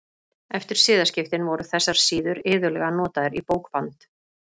Eftir siðaskiptin voru þessar síður iðulega notaðar í bókband.